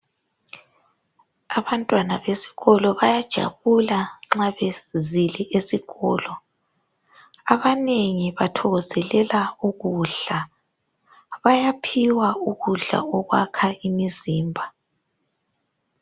Abantwana besikolo bayajabula ma bezile esikolo abanengi bathokozelela ukudla bayaphiwa ukudla okwakha umzimba